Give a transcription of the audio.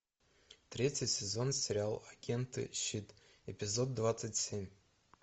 третий сезон сериал агенты щит эпизод двадцать семь